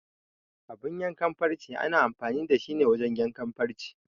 Abun yanke farce ana amfani da shi ne wajen yanke farce.